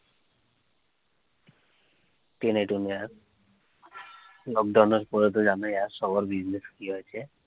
lockdown এর পড়ে তো জানে যার সবার business ঌ আছে